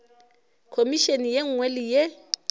khomišene ye nngwe le ye